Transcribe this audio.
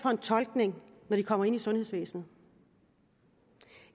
tolkning når de kommer ind i sundhedsvæsenet